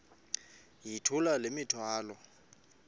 yithula le mithwalo